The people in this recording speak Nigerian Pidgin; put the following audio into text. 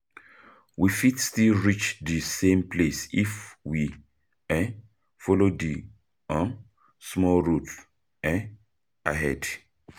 We fit still reach di same place if we um follow di um small road um ahead.